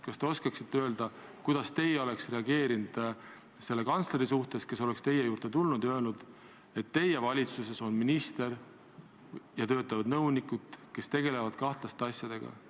Kas te oskate öelda, kuidas teie oleksite reageerinud selle kantsleri sõnadele, kui ta oleks teie juurde tulnud ja öelnud, et teie valitsuses on minister ja töötavad nõunikud, kes tegelevad kahtlaste asjadega?